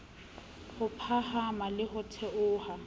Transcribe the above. ho phahama le ho theoha